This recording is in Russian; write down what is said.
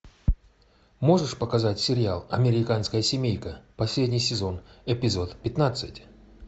можешь показать сериал американская семейка последний сезон эпизод пятнадцать